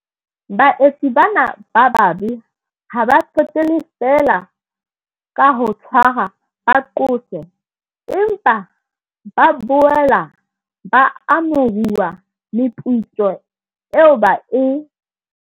Baetsi bana ba bobe ha ba qetelle feela ka ho tshwarwa ba qoswe, empa ba boela ba amohuwa meputso eo ba e